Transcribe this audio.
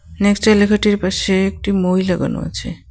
নেক্সা লেখাটির পাশে একটি মই লাগানো আছে।